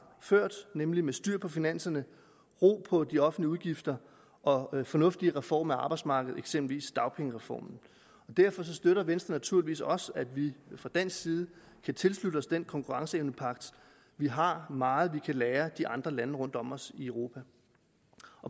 ført nemlig med styr på finanserne ro på de offentlige udgifter og fornuftige reformer af arbejdsmarkedet eksempelvis dagpengereformen derfor støtter venstre naturligvis også at vi fra dansk side kan tilslutte os den konkurrenceevnepagt vi har meget vi kan lære de andre lande rundt om os i europa